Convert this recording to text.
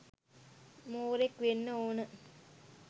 මෝරෙක් වෙන්න ඕන